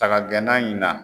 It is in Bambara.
Saga gɛnna in na.